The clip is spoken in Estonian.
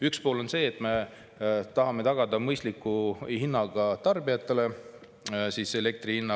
Üks pool on see, et me tahame tagada tarbijatele mõistliku elektri hinna.